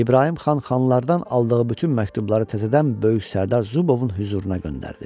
İbrahim xan xanlardan aldığı bütün məktubları təzədən böyük sərdar Zubovun hüzuruna göndərdi.